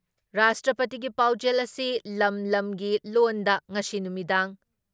ꯔꯥꯁꯇ꯭ꯔꯄꯇꯤꯒꯤ ꯄꯥꯎꯖꯦꯜ ꯑꯁꯤ ꯂꯝ ꯂꯝꯒꯤ ꯂꯣꯜꯗ ꯉꯁꯤ ꯅꯨꯃꯤꯗꯥꯡ